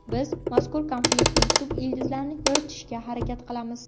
Biz mazkur konfliktning tub ildizlarini yoritishga harakat qilamiz.